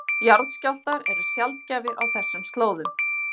Jarðskjálftar eru sjaldgæfir á þessum slóðum